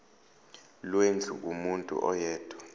lwendlu kumuntu oyedwa